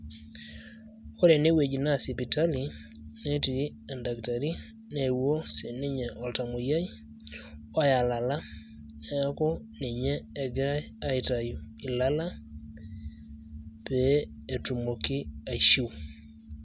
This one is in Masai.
Ore enewueji naa sipitali, netii oldakitari neewuo si ninye oltamoyiai oya lala, neeku ninye egirai aitayu ilala, pee etumoki aishiu.